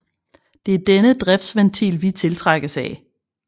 Det er denne driftsventil vi tiltrækkes af